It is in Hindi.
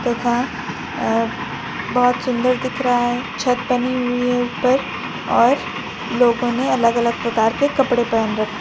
तथा अह बहुत सुंदर दिख रहा है छत बनी हुई है ऊपर और लोगों ने अलग अलग प्रकार के कपड़े पहन र--